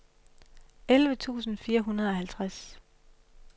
elleve tusind fire hundrede og halvtreds